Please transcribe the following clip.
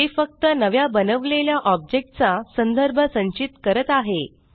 ते फक्त नव्या बनवलेल्या ऑब्जेक्ट चा संदर्भ संचित करत आहे